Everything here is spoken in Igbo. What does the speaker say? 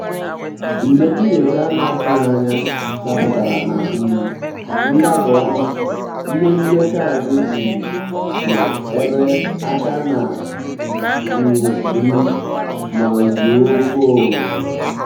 njèm nyòchá á nà-àtụ́ghị́ ányà dàpụ́tàrà nà um ndàbà-ọ́mà ìhè ndékọ́ ànyị́ um nọ́ ébè áká n’é um rù mà zùò kwá òké.